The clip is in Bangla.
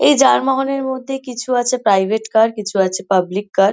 এই যানবাহনের মধ্যে কিছু আছে প্রাইভেট কার কিছু আছে পাবলিক কার ।